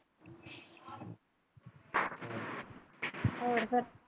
ਹੋਰ ਫਿਰ।